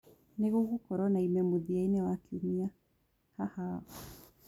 nigugukorwo na ime mũthia ini wa kĩumĩa haha